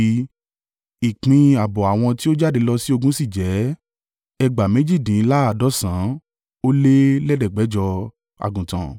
Ìpín ààbọ̀ àwọn tí ó jáde lọ sí ogun sì jẹ́: ẹgbàá méjìdínláàádọ́sàn-án ó lé lẹ̀ẹ́dẹ́gbẹ̀jọ (337,500) àgùntàn.